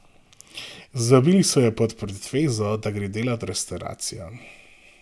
Zvabili so jo pod pretvezo, da gre delat v restavracijo.